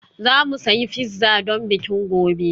Za mu sayi pizza don bikin gobe